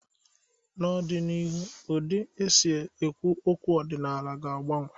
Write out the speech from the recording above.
N'ọdịnihu, ụdị na isi okwu egwu ọdịnala ga-agbanwe.